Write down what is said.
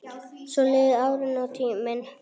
Svo liðu árin og tíminn.